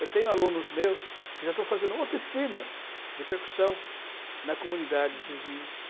Eu tenho alunos meus que já estão fazendo oficinas de percussão na comunidades vizinhas.